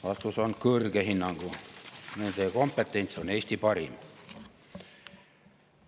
" Vastus on: hea hinnangu, nende kompetents on Eesti parim.